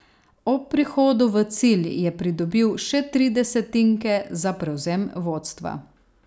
Ob prihodu v cilj je pridobil še tri desetinke za prevzem vodstva.